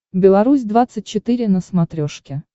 беларусь двадцать четыре на смотрешке